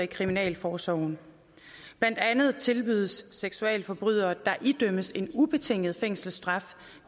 kriminalforsorgen blandt andet tilbydes seksualforbrydere der idømmes en ubetinget fængselsstraf